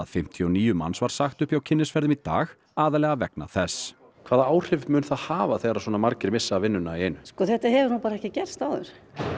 fimmtíu og níu manns var sagt upp hjá Kynnisferðum í dag aðallega vegna þess hvaða áhrif mun það hafa þegar svona margir missa vinnuna í einu þetta hefur bara ekki gerst áður